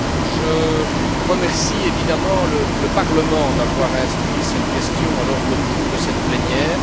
Je remercie évidemment le Parlement d'avoir inscrit cette question à l'ordre du jour de cette plénière.